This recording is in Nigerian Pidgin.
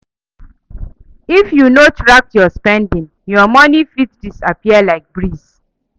If you no track your spending, your money fit disappear like breeze.